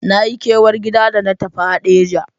Na yi kewar gida da na tafi Hadeja.